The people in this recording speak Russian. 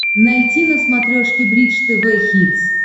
найти на смотрешке бридж тв хитс